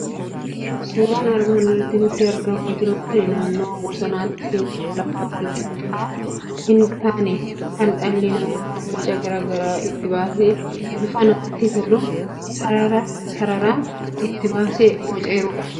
Suuraan armaan olitti nutti argamaa jiru kuni naannoo bosonaatti, teessuma lafaa wal qixxaataa hin taane, kan dhalli namaa boca garaa garaa itti baasee, bifa namatti toluun sarara sarara itti baasee boceerudha.